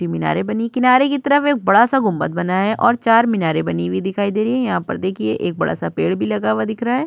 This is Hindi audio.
मीनारे बनी किनारे की तरफ बड़ा सा गुंबद बना है और चार मीनारे बनी हुई दिखाई दे रही हैं। यहां पर देखिए एक बड़ा सा पेड़ भी लगा हुआ दिख रहा।